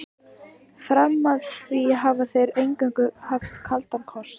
Fram að því hafa þeir eingöngu haft kaldan kost.